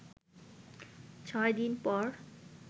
ছয় দিন পর